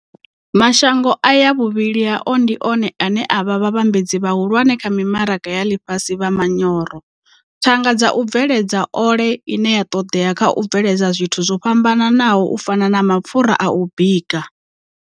Mashango aya vhuvhili hao ndi one ane a vha vhavhambadzi vhahulwane kha mimaraga ya ḽifhasi vha manyoro, thanga dza u bveledza ole ine ya ṱoḓea kha u bveledza zwithu zwo fhambanaho u fana na mapfura a u bika.